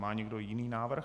Má někdo jiný návrh?